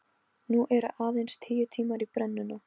Nú eru aðeins tíu tímar í brennuna.